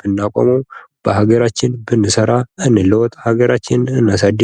ብናቆመው በሀገራችን ብንሠራ እንለወጥ እናሳድግ።